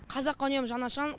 қазаққа үнемі жаны ашыған